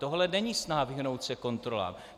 Tohle není snaha, vyhnout se kontrolám.